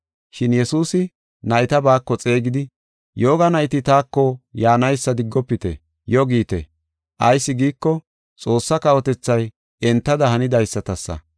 Shin Yesuusi nayta baako xeegidi, “Yooga nayti taako yaanaysa diggofite; yo giite. Ayis giiko, Xoossa kawotethay entada hanidaysatasa.